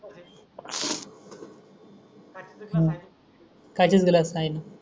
हम्म कायच न दिल साईन